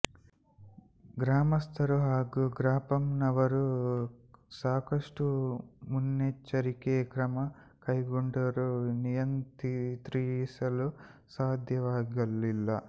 ಗ್ರಾಮಸ್ಥರು ಹಾಗೂ ಗ್ರಾಪಂನವರು ಸಾಕಷ್ಟು ಮುನ್ನೆಚ್ಚರಿಕೆ ಕ್ರಮ ಕೈಗೊಂಡರೂ ನಿಯಂತ್ರಿಸಲು ಸಾಧ್ಯವಾಗಲಿಲ್ಲ